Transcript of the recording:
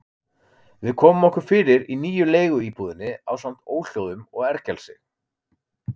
Við komum okkur fyrir í nýju leiguíbúðinni ásamt óhljóðum og ergelsi.